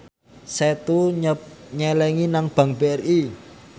Setu nyelengi nang bank BRI